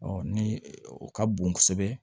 ni o ka bon kosɛbɛ